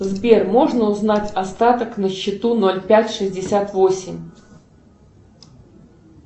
сбер можно узнать остаток на счету ноль пять шестьдесят восемь